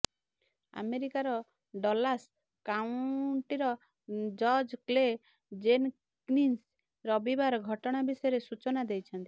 ଆମେରିକାର ଡଲାସ କାଉଣ୍ଟିର ଜଜ କ୍ଲେ ଜେନକିନ୍ସ ରବିବାର ଘଟଣା ବିଷୟରେ ସୂଚନା ଦେଇଛନ୍ତି